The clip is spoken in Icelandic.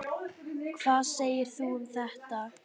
Hvað segir þú um þetta?